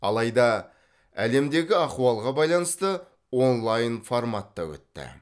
алайда әлемдегі ахуалға байланысты онлайн форматта өтті